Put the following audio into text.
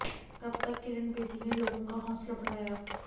तब तक किरण बेदी ने लोगों का हौंसला बढ़ाया